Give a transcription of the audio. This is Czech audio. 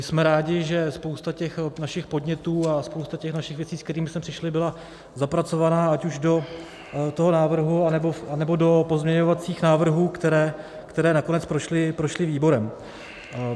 Jsme rádi, že spousta těch našich podnětů a spousta těch našich věcí, se kterými jsme přišli, byla zapracovaná ať už do toho návrhu, anebo do pozměňovacích návrhů, které nakonec prošly výborem.